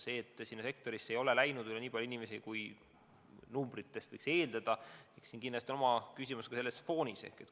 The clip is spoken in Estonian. See, et sinna sektorisse ei läinud nii palju inimesi, kui numbrite järgi võiks eeldada – kindlasti on küsimus ka loodud foonis.